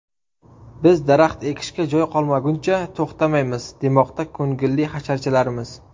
Biz daraxt ekishga joy qolmaguncha to‘xtamaymiz, demoqda ko‘ngilli hasharchilarimiz.